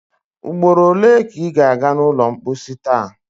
Ugboro ole ka ị ga a ga n’ụlọ mposi taa?